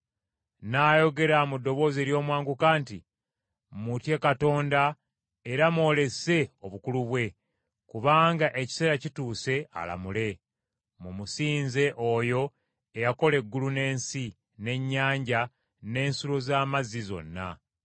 N’ayogera mu ddoboozi ery’omwanguka nti, “Mutye Katonda era mwolese obukulu bwe, kubanga ekiseera kituuse alamule. Mumusinze oyo eyakola eggulu n’ensi, n’ennyanja, n’ensulo z’amazzi zonna.”